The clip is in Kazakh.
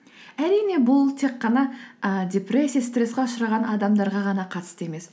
әрине бұл тек қана ы депрессия стресске ұшыраған адамдарға ғана қатысты емес